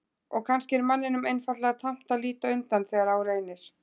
Og kannski er manninum einfaldlega tamt að líta undan þegar á reynir.